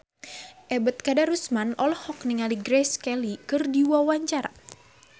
Ebet Kadarusman olohok ningali Grace Kelly keur diwawancara